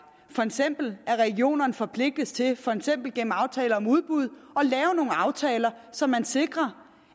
for eksempel at regionerne forpligtes til for eksempel gennem aftaler om udbud at aftaler så man sikrer